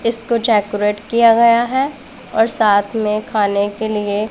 इसको चेकोरेट किया गया है और साथ में खाने के लिए--